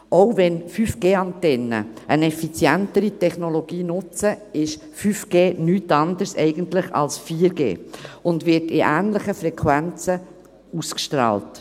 Auch wenn 5G-Antennen eine effizientere Technologie nutzen, ist 5G eigentlich nichts anderes als 4G und wird in ähnlichen Frequenzen ausgestrahlt.